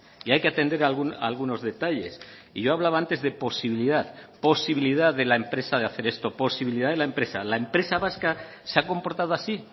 y hay que atender algunos detalles y yo hablaba antes de posibilidad posibilidad de la empresa de hacer esto posibilidad de la empresa la empresa vasca se ha comportado así